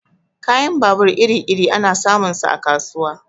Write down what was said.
Kayan babur iri-iri ana samun sa a kasuwa.